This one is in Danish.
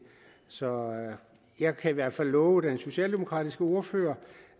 så jeg kan i hvert fald love den socialdemokratiske ordfører